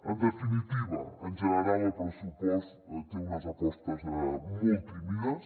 en definitiva en general el pressupost té unes apostes molt tímides